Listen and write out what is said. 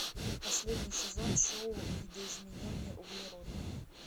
последний сезон шоу видоизмененный углерод